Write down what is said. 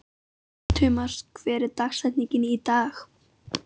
Tumas, hver er dagsetningin í dag?